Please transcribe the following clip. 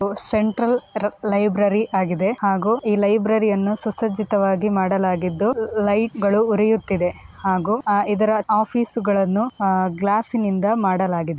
Central drug library ಆಗಿದೆ ಹಾಗೂ library ಯನ್ನು ಸುಸರ್ಜಿತವಾಗಿ ಮಾಡಲಾಗಿದ್ದು ಲೈಟ್ ಗಳು ಉರಿಯುತ್ತಿದೆ ಹಾಗೂ ಅ ಇದರ ಆಫೀಸ್ ಗಳನ್ನು ಆ ಗ್ಲಾಸ್ಸ್ನಿಂದ ಮಾಡಲಾಗಿದೆ.